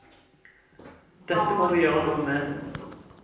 Dette må vi gjøre noe med.